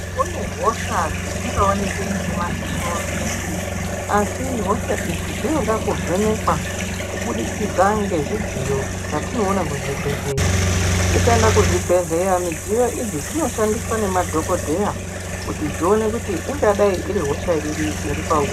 Kune hosha dzisingaoneki nemadziso edu asi hosha idzi dzinoda kuvhenekwa kubudzikidza ngezvidziyo zvatinoona kuzvibhehleya. Ukaenda kuzvibhehleya midziyo idzi dzinoshandiswa nemadhokodheya kuti dzione kuti ingadai iri hosha iri iripauri.